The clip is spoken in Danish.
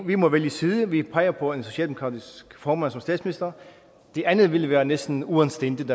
vi må vælge side vi peger på en socialdemokratisk formand som statsminister det andet ville være næsten uanstændigt